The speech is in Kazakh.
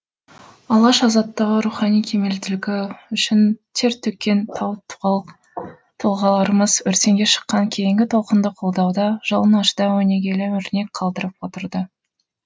алаш азаттығы рухани кемелділігі үшін тер төккен тау тауық тұлғаларымыз өртеңге шыққан кейінгі толқынды қолдауда жалын ашуда өнегелі өрнек қалдырып отырды